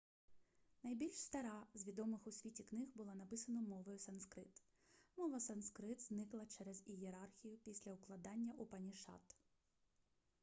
найбільш стара з відомих у світі книг була написана мовою санскрит мова санскрит зникла через ієрархію після укладання упанішад